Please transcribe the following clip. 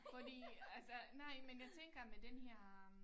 Fordi altså nej men jeg tænker med den her øh